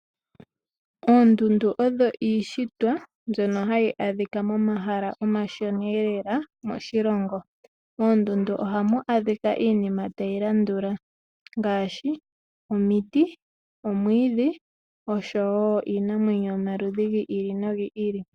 Oondundu odho iishitwa ndhono hadhi adhika momahala omashona eelela moshilongo. Oondundu ohamu adhika iinima tayi landula ngaashi: omuti, omwiidhi, osho woo iinamwenyo yo maludhi giili no gi ili.